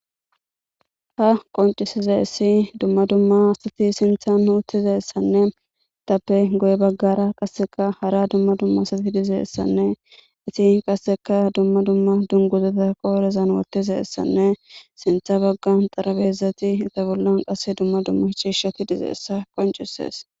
Ha qonccisizaysii dumma dumma asati sinththan utizayssanne guye bagara qase dumma dumma asati diizayssanne etti qasseka dumma dumma dungguzata qodhdhen woththidaysane sinththa baggara xaraphezati be bollan qasse dumma dumma cishshati diizaysa qonccises.